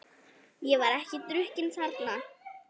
Ég var ekki drukkin þarna.